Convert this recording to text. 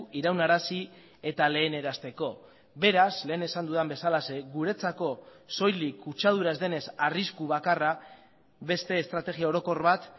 iraunarazi eta lehenarazteko beraz lehen esan dudan bezalaxe guretzako soilik kutsadura ez denez arrisku bakarra beste estrategia orokor bat